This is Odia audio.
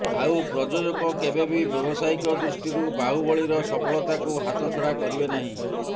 ଆଉ ପ୍ରଯୋଜକ କେବେ ବି ବ୍ୟବସାୟିକ ଦୃଷ୍ଟିରୁ ବାହୁବଳୀର ସଫଳତାକୁ ହାତଛଡା କରିବେ ନାହିଁ